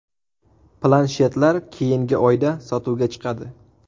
Planshetlar keyingi oyda sotuvga chiqadi.